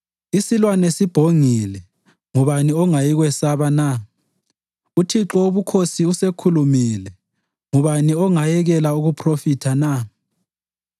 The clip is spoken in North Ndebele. Isilwane sibhongile, ngubani ongayikwesaba na? UThixo Wobukhosi usekhulumile ngubani ongayekela ukuphrofitha na?